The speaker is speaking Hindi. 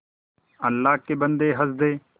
अल्लाह के बन्दे हंस दे